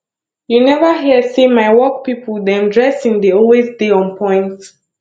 you neva hear sey my work pipo dem dressing dey always dey onpoint